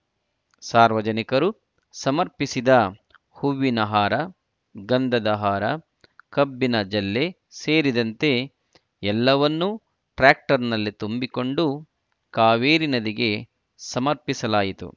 ಸಾರ್ವಜನಿಕರು ಸಮರ್ಪಿಸಿದ್ದ ಹೂವಿನ ಹಾರ ಗಂಧದ ಹಾರ ಕಬ್ಬಿನ ಜಲ್ಲೆ ಸೇರಿದಂತೆ ಎಲ್ಲವನ್ನು ಟ್ರಾಕ್ಟರ್‌ನಲ್ಲಿ ತುಂಬಿಕೊಂಡು ಕಾವೇರಿ ನದಿಗೆ ಸಮರ್ಪಿಸಲಾಯಿತು